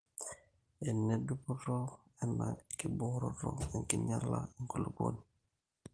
Ene dupoto ena tekibooro enkinyala enkulupuoni